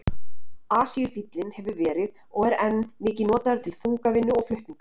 Asíufíllinn hefur verið og er enn mikið notaður til þungavinnu og flutninga.